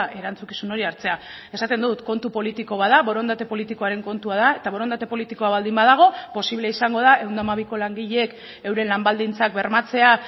erantzukizun hori hartzea esaten dut kontu politiko bat da borondate politikoaren kontua da eta borondate politikoa baldin badago posible izango da ehun eta hamabiko langileek euren lan baldintzak bermatzea